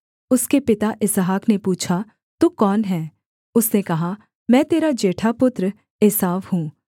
उसके पिता इसहाक ने पूछा तू कौन है उसने कहा मैं तेरा जेठा पुत्र एसाव हूँ